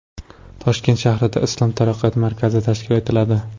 Toshkent shahrida Islom taraqqiyot markazi tashkil etiladi.